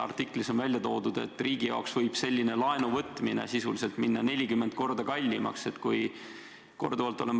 Artiklis on välja toodud, et riigi jaoks võib selline laenu võtmine sisuliselt minna 40 korda kallimaks.